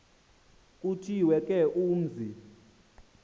kuthiwe ke umzi